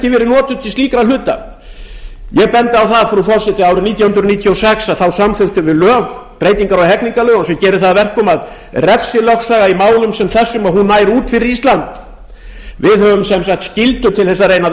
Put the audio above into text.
notuð til slíkra hluta ég bendi á það frú forseti að árið nítján hundruð níutíu og sex samþykktum við lög breytingar á hegningarlögum sem gera það að verkum að refsilögsaga í málum sem þessum nær út fyrir ísland við höfum því skyldur til þess að